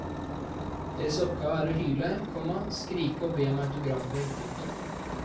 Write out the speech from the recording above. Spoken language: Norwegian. Deres oppgave er å hyle, komma skrike og be om autografer. punktum